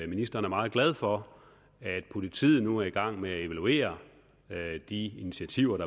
ministeren er meget glad for at politiet nu er i gang med at evaluere de initiativer